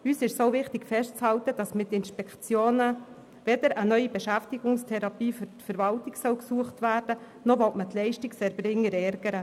Auch ist es uns wichtig festzuhalten, dass mit den Inspektionen weder eine neue Beschäftigungstherapie für die Verwaltung gesucht werden soll, noch will man die Leistungserbringer ärgern.